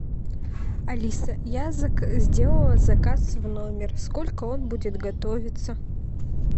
алиса я сделала заказ в номер сколько он будет готовиться